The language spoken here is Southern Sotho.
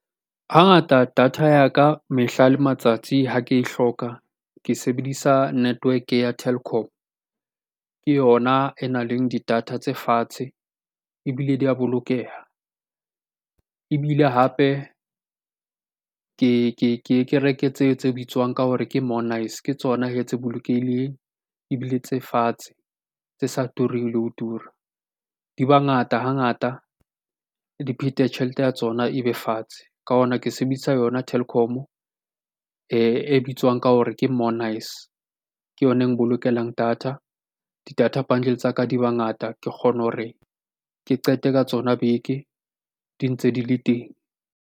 Hangata data ya ka mehla le matsatsi ha ke e hloka ke sebedisa network-e ya Telkom. Ke yona e nang le di data tse fatshe ebile di a bolokeha. Ebile hape ke ke reke tse bitswang ka hore ke monice. Ke tsona hee tse bolokehileng ebile tse fatshe, tse sa tureng le ho tura. Di ba ngata hangata, di phete tjhelete ya tsona e be fatshe. Ka hona ke sebedisa yona Telkom-o e bitswang ka hore ke monice. Ke yona e mbolokelang data, di-data bundle tsa ka di ba ngata. Ke kgone hore ke qete ka tsona beke di ntse di le teng.